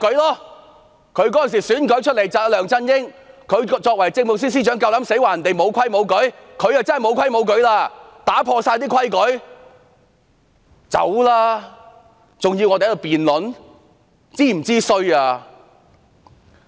作為梁振英政府的政務司司長，她在選舉期間夠膽指責別人無規無矩，但她才是無規無矩，打破了所有規矩。